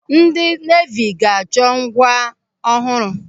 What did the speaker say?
Ndị neevi ga-achọ. ngwa ọhụrụ.